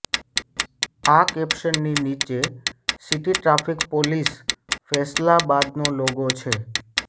આ કેપ્શનની નીચે સિટી ટ્રાફિક પોલીસ ફૈસલાબાદનો લોગો છે